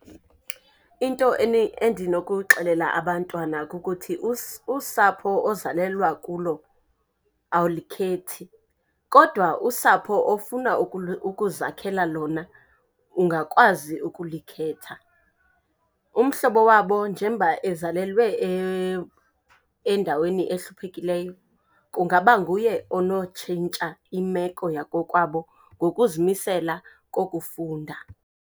Into endinokuxelela abantwana kukuthi usapho ozalelwa kulo awulikhethi, kodwa usapho ofuna ukuzakhela lona ungakwazi ukulikhetha. Umhlobo wabo njemba ezalelwe endaweni ehluphekileyo kungaba nguye onotshintsha imeko yakokwabo ngokuzimisela kokufunda.